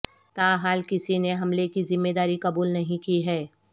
تا حال کسی نے حملے کی ذمہ داری قبول نہیں کی ہے